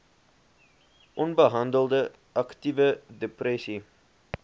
onbehandelde aktiewe depressie